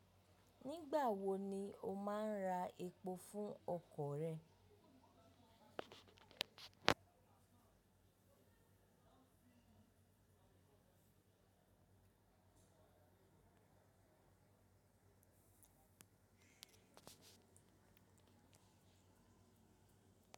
Nígbà wo ni o máa ń ra epo fún ọkọ̀ rẹ?